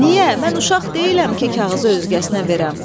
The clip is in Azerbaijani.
Niyə, mən uşaq deyiləm ki, kağızı özgəsinə verəm.